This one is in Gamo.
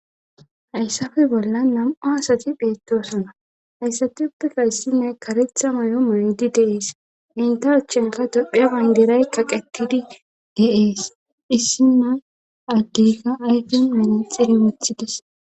Hayssafe bolla nam'u asati pheettoosona hayssati uppikka issimay karetha may'o maydi deees inta achchenka dophiya bangiray kaqetidi de'ees issima addeyka ayfion mini xire wothides.